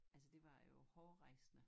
Altså det var jo hårrejsende